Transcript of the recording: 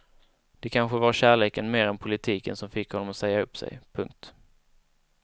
Det kanske var kärleken mer än politiken som fick honom att säga upp sig. punkt